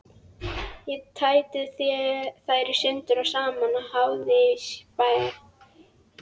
Ég tæti þær sundur og saman í háði og spéi.